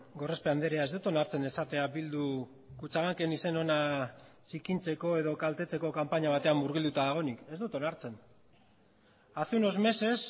gorospe andrea ez dut onartzen esatea bilduk kutxabanken izen ona zikintzeko edo kaltetzeko kanpaina batean murgilduta dagoenik ez dut onartzen hace unos meses